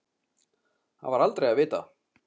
Það var aldrei að vita.